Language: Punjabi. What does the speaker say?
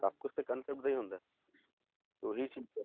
ਸਭ ਕੁਛ ਤੇ concept ਦਾ ਹੀ ਹੁੰਦਾ ਹੈ ਤੇ ਉਹੀ ਚੀਜ਼